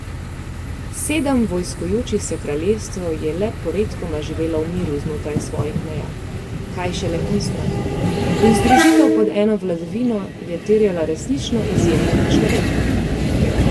Sedem vojskujočih se kraljestev je le poredkoma živelo v miru znotraj svojih meja, kaj šele onstran, in združitev pod eno vladavino je terjala resnično izjemnega človeka.